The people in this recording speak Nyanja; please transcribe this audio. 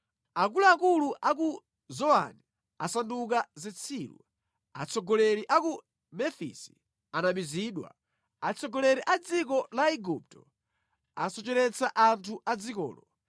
Akuluakulu a ku Zowani asanduka zitsiru, atsogoleri a ku Mefisi anamizidwa; atsogoleri a dziko la Igupto asocheretsa anthu a dzikolo.